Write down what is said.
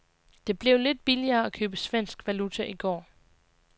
Det blev lidt billigere at købe svensk valuta i går.